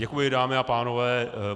Děkuji, dámy a pánové.